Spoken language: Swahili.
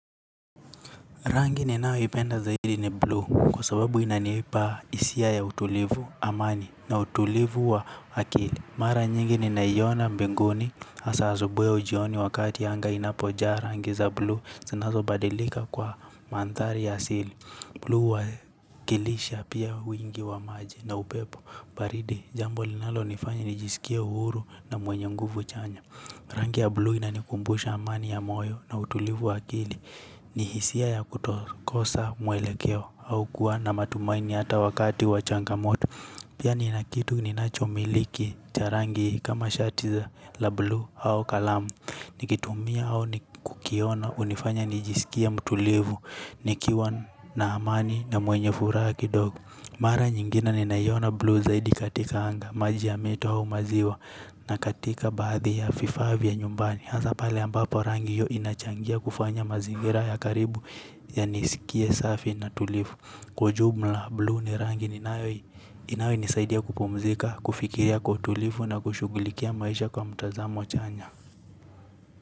Rangi ni nayo ipenda zaidi ni blue kwa sababu inaniipa hisia ya utulivu amani na utulivu wa akili. Mara nyingi ninaiona mbinguni masaa za asubuhi au jioni wakati anga inapojaa rangi za blue sinazo badilika kwa manthari asili. Blue huwakilisha pia wingi wa maji na upepo baridi jambo linalo nifanya nijisikia uhuru na mwenye nguvu chanya. Rangi ya blue inanikumbusha amani ya moyo na utulivu wa akili ni hisia ya kutokosa mwelekeo au kuwa na matumaini ata wakati wa changamoto. Pia ni nakitu ni nachomiliki cha rangi kama shati za la blu au kalamu. Nikitumia au ni kukiona hunifanya nijisikie mtulivu nikiwa na amani na mwenye furaha kidogoo. Mara nyingine ni naiona blue zaidi katika anga, maji ya mito au maziwa na katika baadhi ya fifaa vya nyumbani. Hasa pale ambapo rangi hio inachangia kufanya mazingira ya karibu ya nisikie safi na tulivu. Kwa jumla blue ni rangi ninayo inanisaidia kupumzika, kufikiria kwa utulivu na kushughulikia maisha kwa mtazamo chanya.